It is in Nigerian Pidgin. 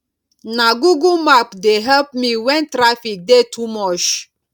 na google map dey help me wen traffic dey too much